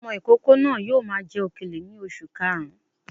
Ọmọ ìkókó náà yóò máa jẹ òkèlè ní oṣù karùn-ún